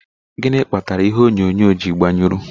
Gịnị kpatara ihe onyonyo ji gbanyụrụ?